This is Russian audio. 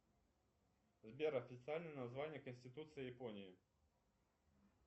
сбер официальное название конституции японии